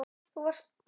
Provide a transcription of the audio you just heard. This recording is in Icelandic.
Og þú varst krati.